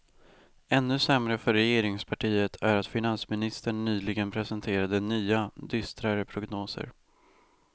Ännu sämre för regeringspartiet är att finansministern nyligen presenterade nya, dystrare prognoser.